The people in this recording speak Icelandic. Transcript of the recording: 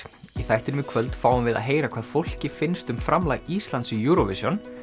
í þættinum í kvöld fáum við að heyra hvað fólki finnst um framlag Íslands í Eurovision